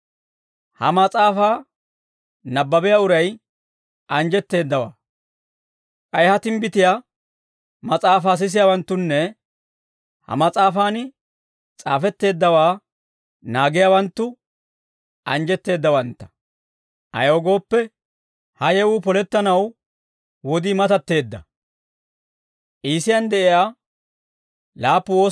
Ha mas'aafaa nabbabiyaa uray anjjetteeddawaa; k'ay ha timbbitiyaa mas'aafaa sisiyaawanttunne ha mas'aafan s'aafetteeddawaa naagiyaawanttu anjjetteeddawantta; ayaw gooppe, ha yewuu polettanaw wodii matatteedda.